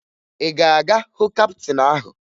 Ị ga-aga hụ kaptịn ahụ?